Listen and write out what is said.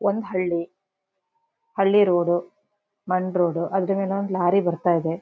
ಒಂದ ಹಳ್ಳಿ ಹಳ್ಳಿ ರೋಡು ಮಣ್ಣ ರೋಡು ಅದರಮೇಲೆ ಒಂದು ಲಾರಿ ಬರತ್ತಾಯಿದೆ.